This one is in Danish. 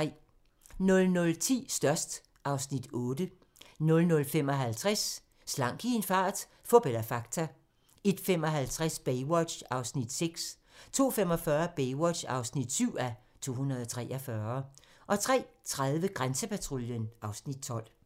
00:10: Størst (Afs. 8) 00:55: Slank i en fart - fup eller fakta? 01:55: Baywatch (6:243) 02:45: Baywatch (7:243) 03:30: Grænsepatruljen (Afs. 12)